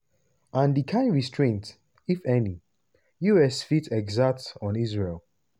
and di kain restraint – if any - us fit exert on israel?